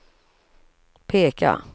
peka